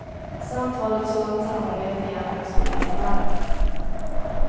Samt vad ett sådant samarbete egentligen skulle innebära.